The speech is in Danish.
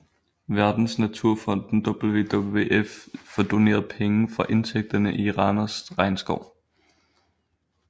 Verdensnaturfonden WWF får doneret penge fra indtægterne i Randers Regnskov